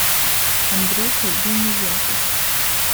андрюха гиниятов